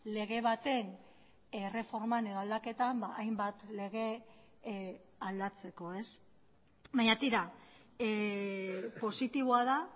lege baten erreforman edo aldaketan hainbat lege aldatzeko ez baina tira positiboa da